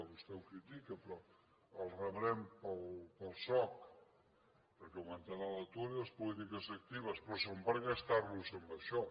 vostè ho crítica però els rebrem per al soc perquè augmentarà l’atur i les polítiques actives però són per gastar los en això